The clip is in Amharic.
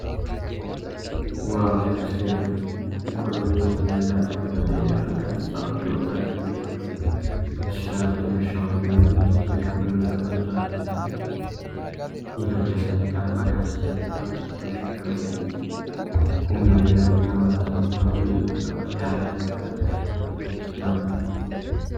ዋው ሲያስገርም! ኮሎኔል/ጀኔራል ከበደ ረጋሳ! የወታደር ዩኒፎርም ደስ ይላል። በትከሻው ላይ ያሉት የክብር ምልክቶች አስደናቂ ናቸው። የኢትዮጵያ ሰንደቅ ዓላማ ከበስተጀርባ አሉ። በፊቱ ላይ ቁም ነገር እና በራስ መተማመን ይነበባል። የሀገር መከላከያ ሰራዊት ልብስ ያምራል።